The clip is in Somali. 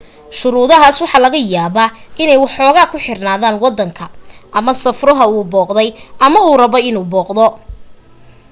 shuruudahaas waxa laga yaabaa inay waxoogaa ku xirnaadaan waddanka ama safruhu uu booqday ama uu rabo inuu booqdo